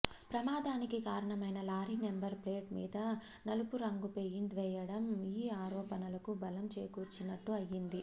ప్రమాదానికి కారణమైన lorry number plate మీద నలుపురంగు పెయింట్ వేయడం ఈ ఆరోపణలకు బలం చేకూర్చినట్లు అయ్యింది